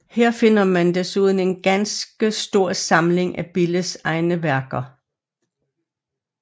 Her finder man desuden en ganske stor samling af Billes egne værker